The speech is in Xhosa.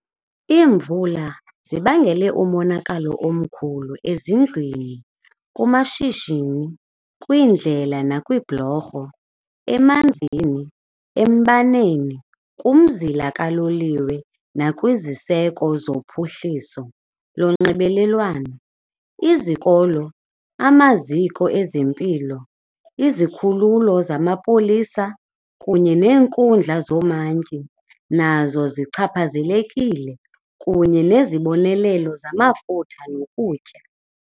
Iimvula zibangele umonakalo omkhulu ezindlwini, kumashishini, kwiindlela nakwiibhulorho, emanzini, embaneni, kumzila kaloliwe nakwiziseko zophuhliso lonxibelelwano. Izikolo, amaziko ezempilo, izikhululo zamapolisa kunye neenkundla zoomantyi nazo zichaphazelekile, kunye nezibonelelo zamafutha nokutya.